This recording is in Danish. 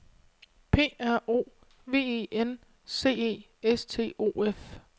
P R O V E N C E S T O F